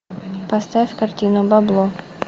поставь картину бабло